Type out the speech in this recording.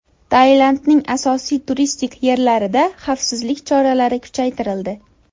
Tailandning asosiy turistik yerlarida xavfsizlik choralari kuchaytirildi.